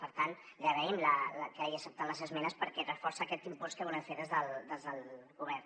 per tant li agraïm que hagi acceptat les esmenes perquè reforcen aquest impuls que volem fer des del govern